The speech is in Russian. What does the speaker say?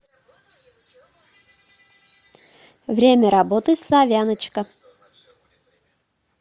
время работы славяночка